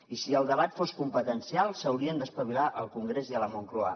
i si el debat fos competencial s’haurien d’espavilar al congrés i a la moncloa